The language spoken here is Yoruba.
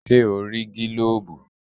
Ṣẹ́ o rí gílóbù?